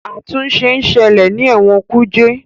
àtúnṣe nṣele ní Ewon kuje.